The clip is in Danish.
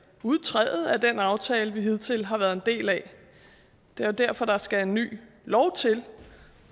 udtræde af den aftale vi hidtil har været en del af det er jo derfor der skal en ny lov til